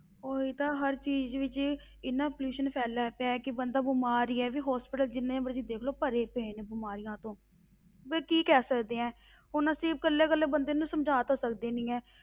ਉਹੀ ਤਾਂ ਹਰ ਚੀਜ਼ ਵਿੱਚ ਇੰਨਾ pollution ਫੈਲਿਆ ਪਿਆ ਕਿ ਬੰਦਾ ਬਿਮਾਰ ਹੀ ਹੈ ਵੀ hospital ਜਿੰਨੇ ਮਰਜ਼ੀ ਦੇਖ ਲਓ ਭਰੇ ਪਏ ਨੇ ਬਿਮਾਰੀਆਂ ਤੋਂ ਵੀ ਕੀ ਕਹਿ ਸਕਦੇ ਹਾਂ ਹੁਣ ਅਸੀਂ ਇਕੱਲੇ ਇਕੱਲੇ ਬੰਦੇ ਨੂੰ ਸਮਝਾ ਤਾਂ ਸਕਦੇ ਨੀ ਹੈ,